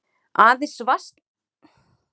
Aðeins vatnasvæði og hæstu fjöll voru skóglaus.